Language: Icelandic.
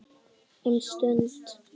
Um stund.